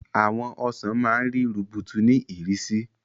Àwọn ọsàn máa ń rí rubutu ní ìrísí.